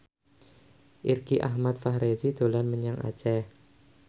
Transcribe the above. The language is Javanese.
Irgi Ahmad Fahrezi dolan menyang Aceh